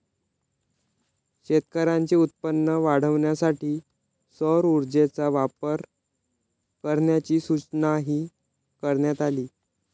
शेतकऱ्यांचे उत्पन्न वाढवण्यासाठी सौर ऊर्जेचा वापर करण्याची सूचनाही करण्यात आली